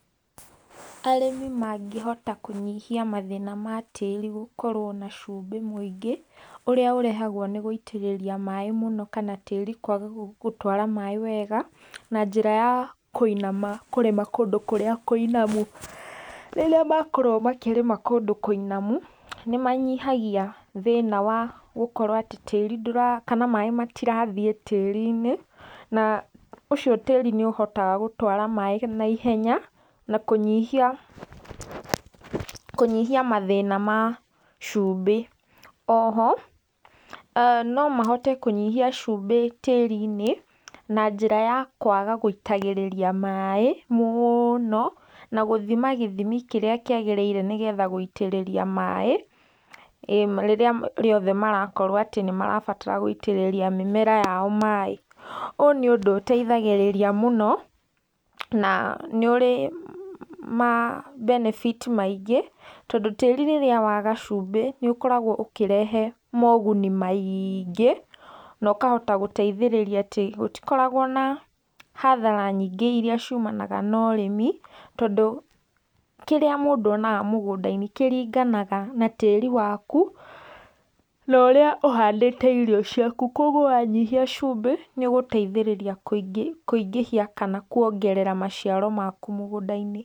Arĩmi mangĩhota kũnyihia mathĩna ma tĩĩri gũkorwo na cumbĩ mũingĩ, ũrĩa ũrehagwo nĩ gũitĩrĩria maĩ mũno, kana tĩĩri kwaga gũtwara maĩ wega, na njĩra ya kũrĩma kũndũ kũrĩa kũinamu, rĩrĩa makorwo makĩrĩma kũndũ kũinamu, nĩmanyihagia thĩna wa gũkorwo atĩ maĩ matirathiĩ tĩĩri-inĩ na ũcio tĩĩri nĩ ũhotaga gũtwara maĩ na ihenya, na kũnyihia mathĩna ma cuumbĩ, o ho nomahote kũnyihia cumbĩ tĩĩri-inĩ na njĩra ya kwaga gũitagĩrĩria maĩ mũno, na gũthima gĩthimi kĩrĩa kĩagĩrĩrire nĩgetha gũitĩrĩria maĩ, rĩrĩa rĩothe marakorwo atĩ nĩmarabatara gũitĩrĩria mĩmera yao maĩ, ũyũ nĩ ũndũ ũteithagĩrĩria mũno, na nĩ ũrĩ ma benefit maingĩ, tondũ tĩĩri rĩrĩa waga cumbĩ nĩũkoragwo ũkĩrehe moguni maĩngĩ, na ũkahota gũteithĩrĩria atĩ gũtikoragwo na hathara nyingĩ iria ciumanaga norĩmi, tondũ kĩrĩa mũndũ onaga mũgũnda-inĩ kĩringanaga na tĩĩri waku, norĩa ũhandĩte irio ciaku, koguo wanyihia cumbĩ nĩũgũteithĩrĩria kũingĩhia kana kũongerera maciaro maku mũgũnda-inĩ.